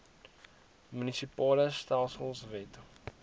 munisipale stelsels wet